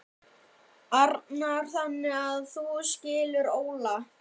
Arnar: Þannig að þú skilur Óla?